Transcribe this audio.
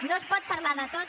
no es pot parlar de tot